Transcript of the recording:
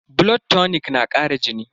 Blood tonic na kara jini?